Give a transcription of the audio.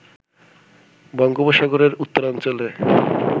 বঙ্গোপসাগরের উত্তরাঞ্চলে